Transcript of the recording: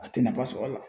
A tɛ nafa sɔrɔ a la